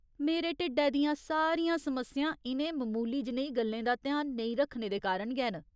मेरे ढिड्डै दियां सारियां समस्यां इ'नें मामूली जनेही गल्लें दा ध्यान नेईं रक्खने दे कारण गै न।